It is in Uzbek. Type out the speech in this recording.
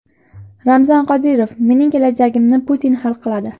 Ramzan Qodirov: mening kelajagimni Putin hal qiladi.